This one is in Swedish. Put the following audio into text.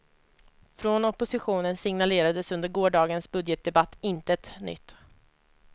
Från oppositionen signalerades under gårdagens budgetdebatt intet nytt.